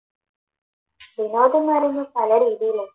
വിനോദന്ന് പറയുന്നത് പല രീതിയിലാണ്